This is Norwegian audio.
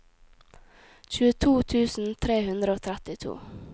tjueto tusen tre hundre og trettito